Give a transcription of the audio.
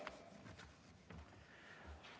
Aitäh!